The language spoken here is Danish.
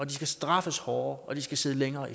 de skal straffes hårdere og de skal sidde længere